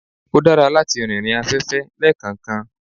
ó dára látí rìnrìn afẹ́fẹ́ lekankan